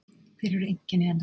Hver eru einkenni hennar?